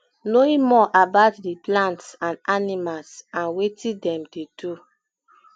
knowing more about di plants and animals and wetin dem dey do